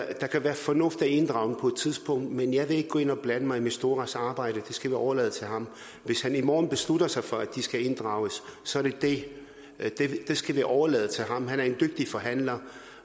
at der kan være fornuft i at inddrage dem på et tidspunkt men jeg vil ikke gå ind og blande mig i misturas arbejde det skal vi overlade til ham hvis han i morgen beslutter sig for at de skal inddrages så er det det det skal vi overlade til ham han er en dygtig forhandler